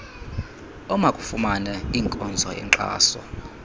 omakafumane inkonzo yenkxaso